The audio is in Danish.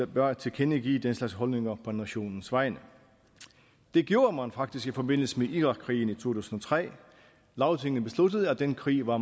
bør tilkendegive den slags holdninger på nationens vegne det gjorde man faktisk i forbindelse med irakkrigen i to tusind og tre lagtinget besluttede at den krig var